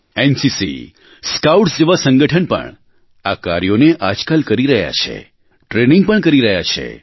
NCC scouts જેવા સંગઠન પણ આ કાર્યોને આજકાલ કરી રહ્યાં છે ટ્રેનિંગ પણ કરી રહ્યાં છે